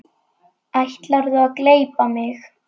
Ætlarðu að gleypa mig!